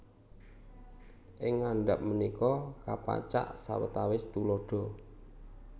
Ing ngandhap punika kapacak sawetawis tuladha